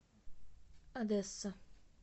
одесса